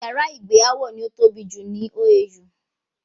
Yàrá ìgbé Áwọ̀ ní ó tóbi jù ní OAU